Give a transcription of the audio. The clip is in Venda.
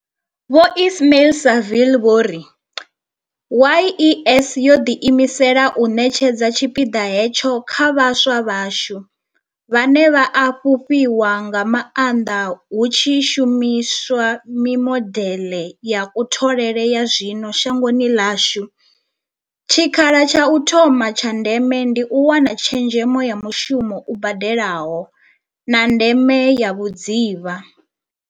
Vho Ismail-Saville vho ri YES yo ḓiimisela u ṋetshedza tshipiḓa hetsho kha vhaswa vhashu, vhane vha a fhufhiwa nga maanḓa hu tshi shumi swa mimodeḽe ya kutholele ya zwino shangoni ḽashu, tshikha la tsha u thoma tsha ndeme ndi u wana tshezhemo ya mushumo u badelaho, na ndeme ya vhudzivha.